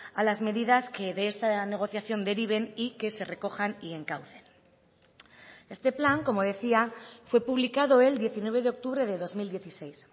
a las medidas que de esta negociación deriven y que se recojan y encaucen este plan como decía fue publicado el diecinueve de octubre de dos mil dieciséis